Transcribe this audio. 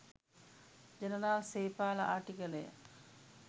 General Sepala Attygalle.